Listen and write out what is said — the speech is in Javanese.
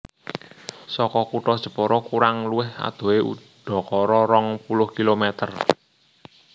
Saka kutha Jepara kurang luwih adohe udakara rong puluh kilometer